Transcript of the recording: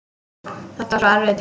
Þetta var svo erfiður tími.